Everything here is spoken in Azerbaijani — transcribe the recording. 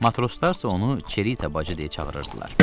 Matroslar isə onu Çerita bacı deyə çağırırdılar.